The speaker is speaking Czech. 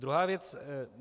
Druhá věc.